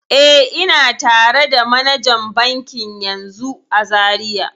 E, ina tare da manajan bankin yanzun a Zariya.